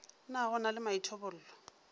na go na le maithobollo